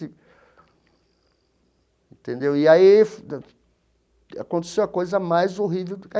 Entendeu e aí aconteceu a coisa mais horrível.